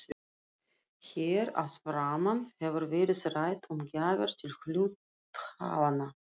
Hér að framan hefur verið rætt um gjafir til hluthafanna.